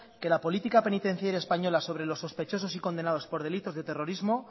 que la política penitenciaria española sobre los sospechosos y condenados por delitos de terrorismo